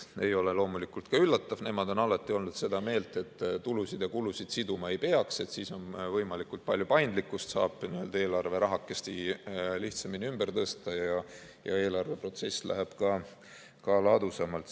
See ei ole loomulikult ka üllatav, nemad on alati olnud seda meelt, et tulusid ja kulusid siduma ei peaks, siis on võimalikult palju paindlikkust, saab eelarverahakest lihtsamini ümber tõsta ja eelarveprotsess läheb ka ladusamalt.